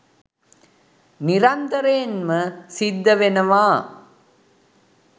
නිරන්තරයෙන්ම සිද්ධවෙනවා